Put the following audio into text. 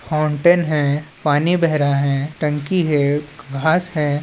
Fountain है पानी बेह रहा है टंकी है घास है।